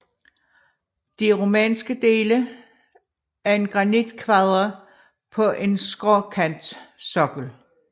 De romanske dele er af granitkvadre på en skråkantsokkel